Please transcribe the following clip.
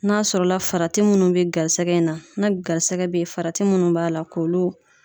N'a sɔrɔ la farati munnu bɛ garisɛgɛ in na garisɛgɛ bɛ ye farati munnu b'a la k'olu